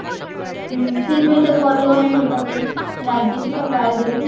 ହୁଁ ସେଇଥିପାଇଁ ତା ଘର ଲୋକ ମାନେ ସବୁ ତା ଉପରେ ରାଗିଲେ ତାକୁ ଗାଳିଦେଲେ